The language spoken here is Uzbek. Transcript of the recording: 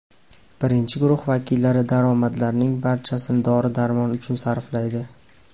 Birinchi guruh vakillari daromadlarning barchasini dori-darmon uchun sarflaydi.